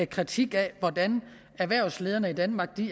kritik af hvordan erhvervslederne i danmark